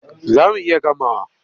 Za mu iya gamawa.